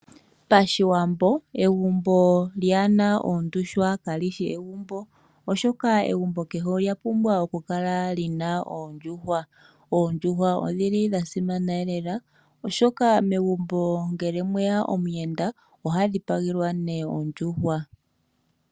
Pashiwambo egumbo lyahena oondjuhwa kalishi egumbo oshoka egumbo kehe olya pumbwa okukala lina oondjuhwa ,oondjuhwa odhili dha simana noonkondo oshoka megumbo ngele omweya omuyenda oha dhi pagelwa ondjuhwa.